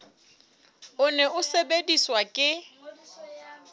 o ne o sebediswa ke